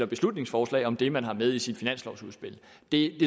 beslutningsforslag om det man har med i sit finanslovsudspil det